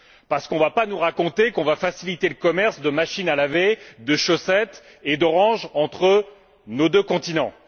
On ne va quand même pas nous raconter qu'on va faciliter le commerce de machines à laver, de chaussettes et d'oranges entre nos deux continents!